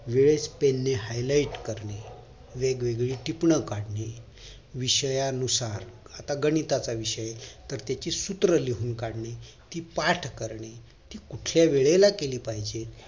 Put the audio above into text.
pen highlight करणे वेगवेगळी टिपण काढणे विषयानुसार आता गणिताचा विषय तर त्याची सूत्र लिहून काढणे ती पाठ करणे ती कुठल्या वेळेला केली पाहिजे